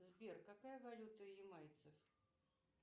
сбер какая валюта ямайцев